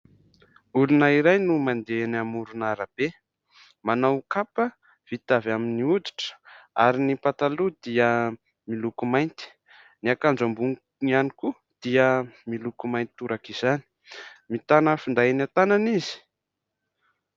Olona iray no mandeha eny amoron'arabe. Manao kapa vita avy amin'ny hoditra ary ny pataloha dia miloko mainty ; ny akanjo amboniny ihany koa dia miloko mainty toraka izany. Mitana finday an-tànany izy.